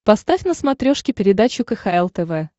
поставь на смотрешке передачу кхл тв